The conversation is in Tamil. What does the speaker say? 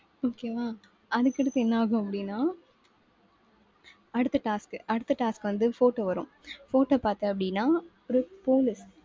okay வா. அதுக்கடுத்து என்னாகும் அப்படின்னா அடுத்த task அடுத்த task வந்து, photo வரும். photo பார்த்த அப்படின்னா ஒரு police